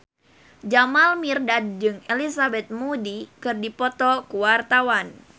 Jamal Mirdad jeung Elizabeth Moody keur dipoto ku wartawan